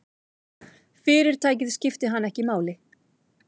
Fyrirtækið skipti hann ekki máli.